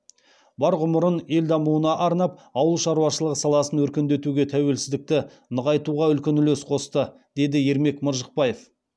бар ғұмырын ел дамуына арнап ауыл шаруашылығы саласын өркендетуге тәуелсіздікті нығайтуға үлкен үлес қосты деді ермек маржықпаев